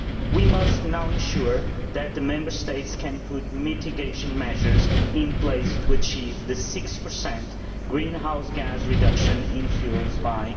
We must now ensure that the Member States can put mitigation measures in place to achieve the 6 greenhouse gas reduction target in fuels by